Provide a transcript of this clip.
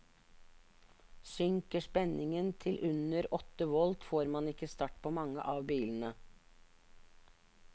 Synker spenningen til under åtte volt, får man ikke start på mange av bilene.